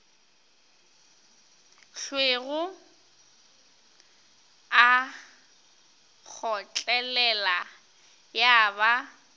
hlwego a kgotlelela ya ba